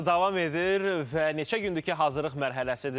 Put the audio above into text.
Və neçə gündür ki, hazırlıq mərhələsidir.